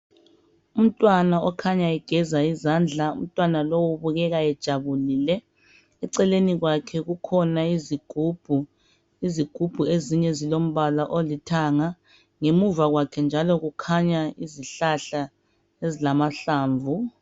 Umntwana okhanya egeza izandla, umntwana lowu ubukeka ejabulile. Eceleni kwakhe kukhona izigubhu, izigubhu ezinye zilombala olithanga ngemuva kwakhe njalo kukhanya izihlahla ezilamahlamvu.